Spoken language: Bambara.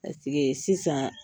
sisan